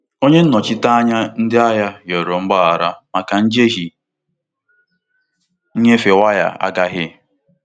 Onye nnochite anya ndị ahịa rịọrọ mgbaghara maka njehie nnyefe waya agaghị.